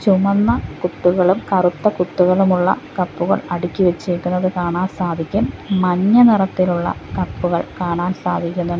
ചുമന്ന കുത്തുകളും കറുത്ത കുത്തുകളും ഉള്ള കപ്പുകൾ അടുക്കി വെച്ചേക്കുന്നത് കാണാൻ സാധിക്കും മഞ്ഞ നിറത്തിലുള്ള കപ്പുകൾ കാണാൻ സാധിക്കുന്നു --